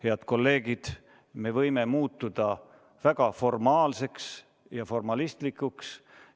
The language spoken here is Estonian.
Head kolleegid, me võime muutuda väga formaalseks ja formalistlikuks.